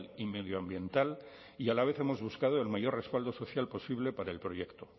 y medioambiental y a la vez hemos buscado el mayor respaldo social posible para el proyecto